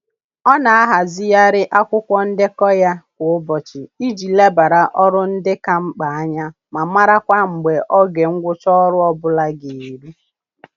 Ọ na-ahazigharị akwụkwọ ndekọ ya kwa ụbọchị iji lebara ọrụ ndị ka mkpa anya ma marakwa mgbe oge ngwụcha ọrụ ọbụla ga eru